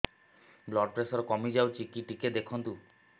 blood pressure କମି ଯାଉଛି କି ଟିକେ ଦେଖନ୍ତୁ